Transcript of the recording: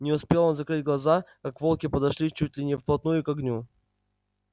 не успел он закрыть глаза как волки подошли чуть ли не вплотную к огню